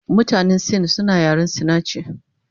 Mutanen sin suna yaren sinachi